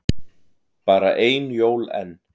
Bara ein jól enn.